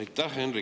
Aitäh!